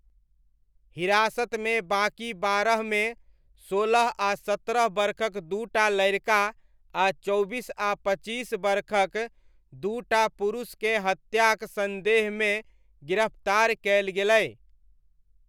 हिरासतमे बाकी बारहमे, सोलह आ सत्रह बरखक दू टा लड़िका आ चौबीस आ पचीस बरखक दू टा पुरुषकेँ हत्याक सन्देहमे गिरफ्तार कयल गेलै।